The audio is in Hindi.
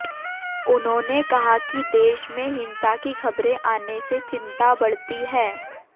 उन्होंने कहा कि देश में हिंसा की खबरे आने से चिंता बढ़ती है